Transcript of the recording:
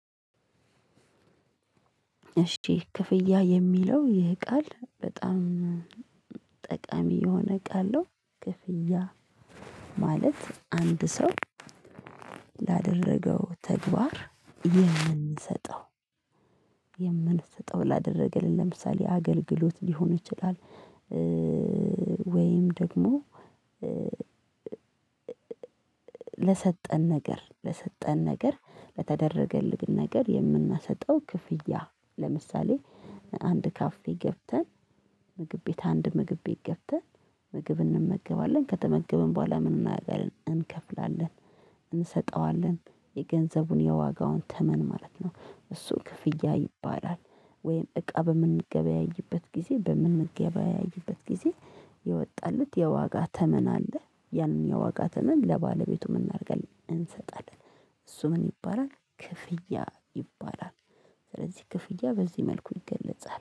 እሺ ክፍያ የሚለው ይሄ ቃል በጣም ጠቃሚ የሆነ ቃል ነው። ክፍያ ማለት አንድ ሰው ላደረገው ተግባር የምንሰጠው የምንሰጠው ላደረገልን ለምሳሌ አገልግሎት ሊሆን ይችላል ወይም ደግሞ ለሰጠን ነገር ለሰጠን ነገር፤ ለተደረገልን ነገር የምናሰጠው ክፍያ ለምሳሌ አንድ ካፌ ገብተን ምግብ ቤት አንድ ምግብ ቤት ገብተን ምግብ እንመገባለ፤ ከተመገበን በኋላ ምን እናረጋለን፤ እንከፍላለን እንሰጠዋለን፤ የገንዘቡን የዋጋውን ተመን ማለት ነው። እሱ ክፍያ ይባላል ወይም እቃ በምንገበያይበት ጊዜ፤ በምንገበያይበት ጊዜ የወጣለት የዋጋ ተመን አለ። ያንን የዋጋ የዋጋትን ለባለቤቱ ምን እናደርጋለን እንሰጣለን እሱ ምን ይባላል ክፍያ ይባላል። ስለዚህ ክፍያ በዚህ መልኩ ይገለጻል።